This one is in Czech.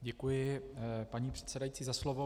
Děkuji, paní předsedající, za slovo.